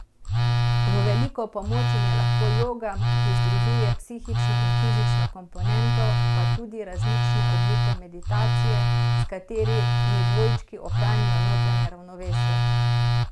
V veliko pomoč jim je lahko joga, ki združuje psihično in fizično komponento, pa tudi različne oblike meditacije, s katerimi dvojčki ohranijo notranje ravnovesje.